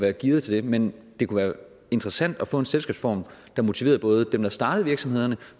er gearet til det men det kunne være interessant at få en selskabsform der motiverede både dem der starter virksomhederne